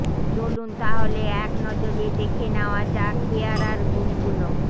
চলুন তাহলে এক নজরে দেখে নেওয়া যাক পেয়ারার গুণগুলো